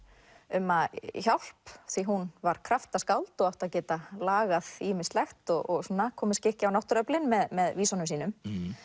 um hjálp því hún var kraftaskáld og átti að geta lagað ýmislegt og svona komið skikki á náttúruöflin með vísunum sínum